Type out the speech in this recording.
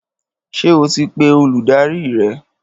Ṣé o ti pe olùdarí rẹ?